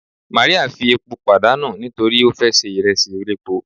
Mary fi epo padanu nitori o fe se iresi elépo